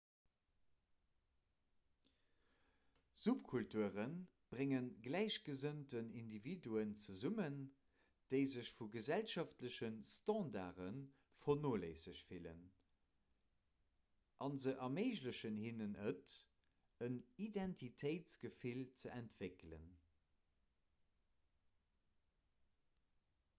subkulture brénge gläichgesënnt individuen zesummen déi sech vu gesellschaftleche standarde vernoléissegt fillen a se erméiglechen hinnen et en identitéitsgefill ze entwéckelen